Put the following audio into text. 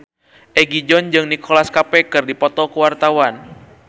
Egi John jeung Nicholas Cafe keur dipoto ku wartawan